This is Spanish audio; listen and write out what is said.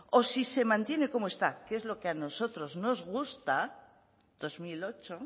o si se mantiene como está que es a lo que nosotros nos gusta dos mil ocho